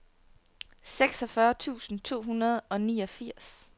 seksogfyrre tusind to hundrede og niogfirs